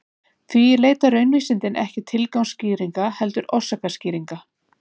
því leita raunvísindin ekki tilgangsskýringa heldur orsakaskýringa